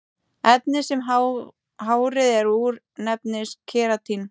Efnið sem hárið er úr nefnist keratín.